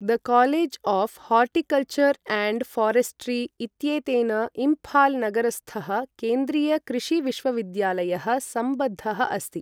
The college of horticulture and forestry इत्येतेन इम्फाल् नगरस्थः केन्द्रीय कृषि विश्वविद्यालयः सम्बद्धः अस्ति।